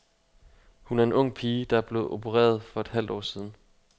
Hun er en ung pige, der er blevet opereret for et halvt år siden.